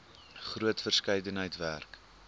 groot verskeidenheid werk